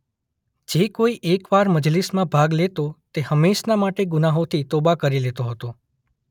જે કોઈ એકવાર મજલિસમાં ભાગ લેતો તે હમેંશના માટે ગુનાહોથી તોબા કરી લેતો હતો.